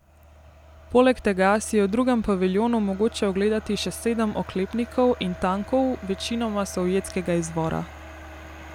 Poleg tega si je v drugem paviljonu mogoče ogledati še sedem oklepnikov in tankov večinoma sovjetskega izvora.